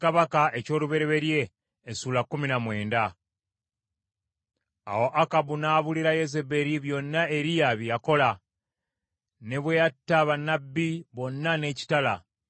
Awo Akabu n’abuulira Yezeberi byonna Eriya bye yakola, ne bwe yatta bannabbi bonna n’ekitala.